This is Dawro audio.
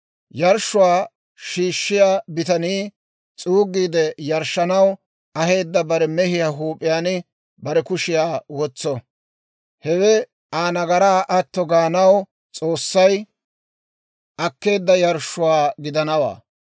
Yarshshuwaa shiishshiyaa bitanii s'uugiide yarshshanaw aheedda bare mehiyaa huup'iyaan bare kushiyaa wotso. Hewe Aa nagaraa atto gaanaw S'oossay akkeedda yarshshuwaa gidanawaa.